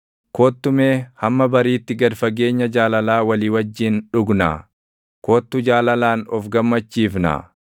Kottu mee hamma bariitti gad fageenya jaalalaa walii wajjin dhugnaa; kottu jaalalaan of gammachiifnaa!